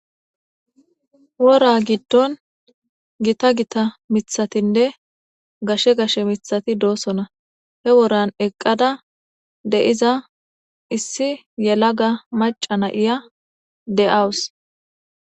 Woraa giddon githa githa miththathinne gashe gashe miththathi doosona; he woran eqqada de7iza issi yelaga macca na7iya de7awus.